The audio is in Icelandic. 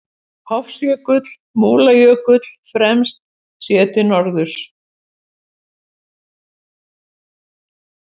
Hofsjökull, Múlajökull fremst, séð til norðurs.